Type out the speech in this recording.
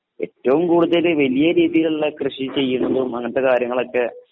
ഏറ്റവും കൂടുതല് വലിയ രീതികളില് കൃഷി ചെയ്യണതും അങ്ങനത്തെ കാര്യങ്ങളൊക്കെ